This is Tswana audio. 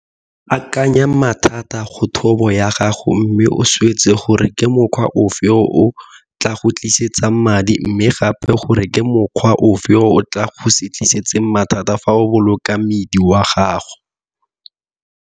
Akanya mathata go thobo ya gago mme o swetse gore ke mokgwa ofe o o tla go tlisetsang madi mme gape gore ke mokgwa ofe o o tla go se tlisetse mathata fa o boloka mmidi wa gago.